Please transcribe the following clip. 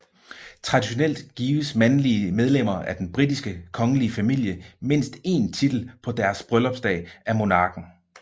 Traditionelt gives mandlige medlemmer af den britiske kongelige familie mindst én titel på deres bryllupsdag af monarken